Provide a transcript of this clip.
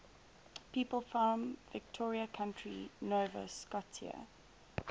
people from victoria county nova scotia